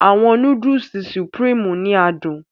Àwọn Núdúùsù Supreme ni adùn